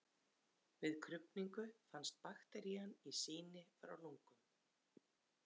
Við krufningu fannst bakterían í sýni frá lungum.